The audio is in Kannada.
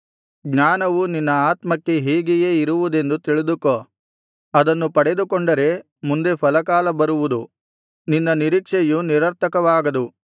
ಜ್ಞಾನವು ನಿನ್ನ ಆತ್ಮಕ್ಕೆ ಹೀಗೆಯೇ ಇರುವುದೆಂದು ತಿಳಿದುಕೋ ಅದನ್ನು ಪಡೆದುಕೊಂಡರೆ ಮುಂದೆ ಫಲಕಾಲ ಬರುವುದು ನಿನ್ನ ನಿರೀಕ್ಷೆಯು ನಿರರ್ಥಕವಾಗದು